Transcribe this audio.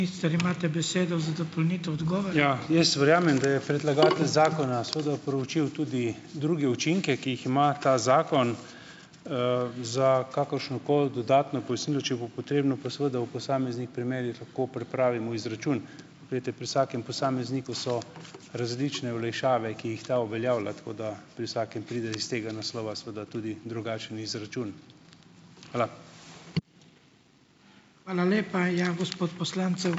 Ja, jaz verjamem, da je predlagatelj zakona seveda proučil tudi druge učinke, ki jih ima ta zakon. Za kakršnokoli dodatno pojasnilo, če bo potrebno, pa seveda v posameznih primerih lahko pripravimo izračun. Glejte, pri vsakem posamezniku so različne olajšave, ki jih ta uveljavlja. Tako da pri vsakem pride iz tega naslova seveda tudi drugačen izračun. Hvala.